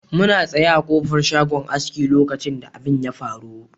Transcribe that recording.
Muna tsaye a ƙofar shagon aski lokacin da abin ya faru.